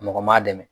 Mɔgɔ m'a dɛmɛ